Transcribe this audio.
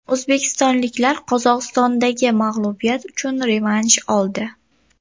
O‘zbekistonliklar Qozog‘istondagi mag‘lubiyat uchun revansh oldi.